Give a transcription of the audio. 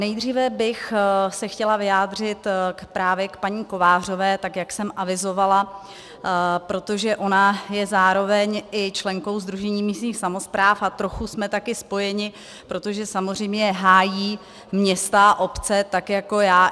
Nejdříve bych se chtěla vyjádřit právě k paní Kovářové, tak jak jsem avizovala, protože ona je zároveň i členkou Sdružení místních samospráv a trochu jsme také spojeny, protože samozřejmě hájí města a obce tak jako já.